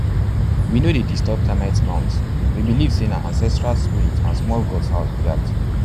we no dey disturb termite mounds um because we believe say na ancestral spirits and small gods um house be dat. um